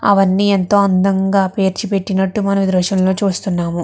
అవన్నీ ఎంతో అందంగా పేర్చిపెట్టినట్టు మనము ఈ దృశ్యంలో చూస్తున్నాము.